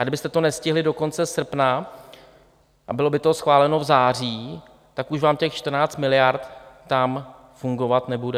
A kdybyste to nestihli do konce srpna a bylo by to schváleno v září, tak už vám těch 14 miliard tam fungovat nebude.